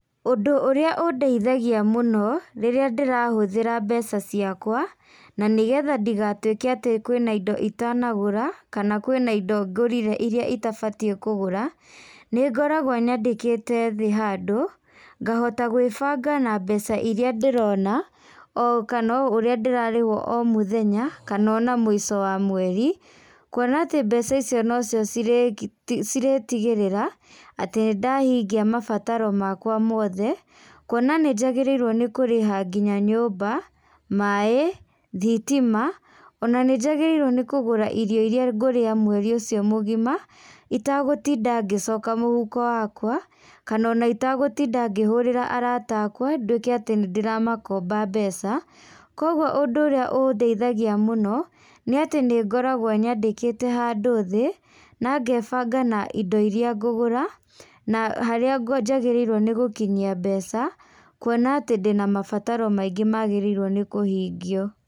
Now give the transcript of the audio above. Ũndũ ũrĩa ũndeithagia mũno, rĩrĩa ndĩrahũthĩra mbeca ciakwa, na nĩgetha ndigatuĩke atĩ kwĩ na indo itanagũra, kana kwĩ na indo ngũrire iria itabatie kũgũra, nĩngoragwo nyandĩkĩte thĩ handũ, ngahota gwĩbanga na mbeca iria ndĩrona okana ũrĩa ndĩrarĩhwo o mũthenya, kana ona mũico wamweri, kuona atĩ mbeca icio nocio cirĩ cirĩ tigĩrĩra atĩ nĩndahingia mabataro makwa mothe, kuona nĩnjagĩrĩire nĩ kũrĩha nginya nyũmba, maĩ, thitima, ona nĩ njagĩrĩirwo nĩkũgũra irio iria ngũrĩa mweri ũcio mũgima, itagũtinda ngĩcoka mũhuko wakwa, kana ona itagũtinda ngĩhũrĩra arata akwa, nduĩke atĩ nĩndĩramakomba mbeca, koguo ũndũ ũrĩa ũndeithagia mũno, nĩatĩ nĩngoragwo nyandĩkĩte handũ thĩ, na ngebanga na indo iria ngũgũra, na harĩa njagĩrĩirwo nĩ gũkinyia mbeca, kuona atĩ ndĩna mabataro maingĩ mabataire nĩ kũhingio.